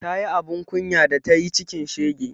Ta yi abun kunya da tayi cikin shege